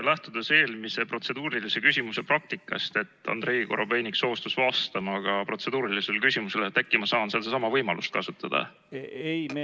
Lähtudes eelmise protseduurilise küsimuse praktikast, kui Andrei Korobeinik soostus vastama ka protseduurilisele küsimusele, siis äkki ma saan sedasama võimalust kasutada?